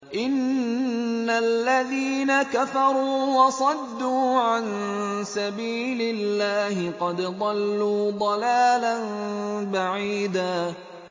إِنَّ الَّذِينَ كَفَرُوا وَصَدُّوا عَن سَبِيلِ اللَّهِ قَدْ ضَلُّوا ضَلَالًا بَعِيدًا